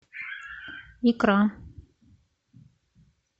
икра